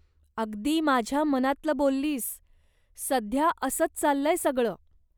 अगदी माझ्या मनातलं बोललीस, सध्या असंच चाललंय सगळ.